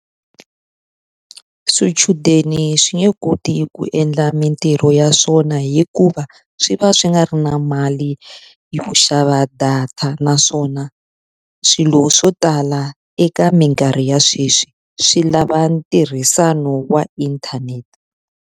Swichudeni swi nge koti ku endla mintirho ya swona hikuva swi va swi nga ri na mali yo xava data, naswona swilo swo tala eka minkarhi ya sweswi swi lava ntirhisano wa inthanete.